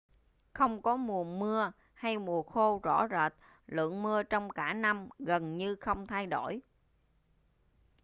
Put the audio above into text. không có mùa mưa hay mùa khô rõ rệt lượng mưa trong cả năm gần như không thay đổi